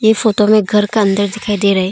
इस फोटो में घर का अंदर दिखाई दे रहा--